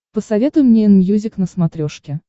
посоветуй мне энмьюзик на смотрешке